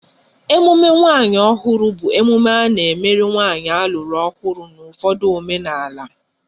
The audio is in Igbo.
Emume nwunye ọhụrụ bụ emume a na-emerụ nwanyị alụrụ ọhụrụ n' ụfọdụ omenala